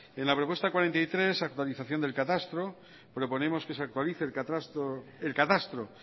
en la propuesta cuarenta y tres actualización del catastro proponemos que se actualice el catastro